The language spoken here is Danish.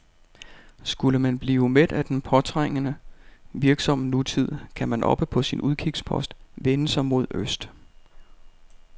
Skulle man blive mæt af den påtrængende, virksomme nutid, kan man oppe på sin udkigspost vende sig mod øst.